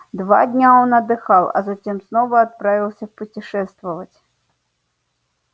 два дня он отдыхал а затем снова отправился путешествовать